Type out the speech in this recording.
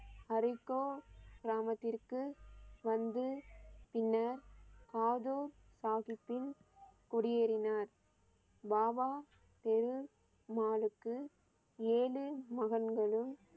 அரிக்கோ கிராமத்திற்கு வந்து பின்னர் வாது சாஹிப்பின் குடியேறினர். பாபா பெரு மாலுக்கு ஏழு மகன்களும்